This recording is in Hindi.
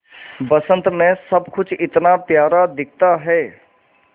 बसंत मे सब कुछ इतना प्यारा दिखता है